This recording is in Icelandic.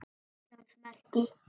Íslands merki.